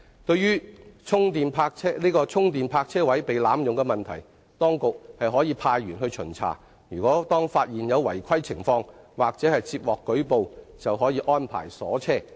對於充電泊車位被濫用問題，當局可派員巡查，當發現有違規情況或接獲舉報，應安排鎖車。